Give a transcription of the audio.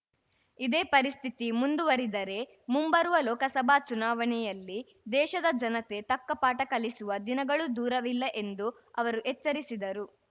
ಇದೇ ಪರಿಸ್ಥಿತಿ ಮುಂದುವರಿದರೆ ಮುಂಬರುವ ಲೋಕಸಭಾ ಚುನಾವಣೆಯಲ್ಲಿ ದೇಶದ ಜನತೆ ತಕ್ಕ ಪಾಠ ಕಲಿಸುವ ದಿನಗಳೂ ದೂರವಿಲ್ಲ ಎಂದು ಅವರು ಎಚ್ಚರಿಸಿದರು